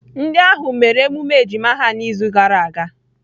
Ndị ahụ mere emume ejima ha n'izu gara aga.